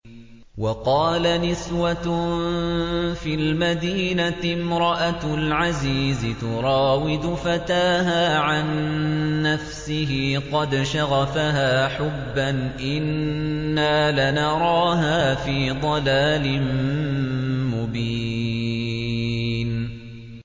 ۞ وَقَالَ نِسْوَةٌ فِي الْمَدِينَةِ امْرَأَتُ الْعَزِيزِ تُرَاوِدُ فَتَاهَا عَن نَّفْسِهِ ۖ قَدْ شَغَفَهَا حُبًّا ۖ إِنَّا لَنَرَاهَا فِي ضَلَالٍ مُّبِينٍ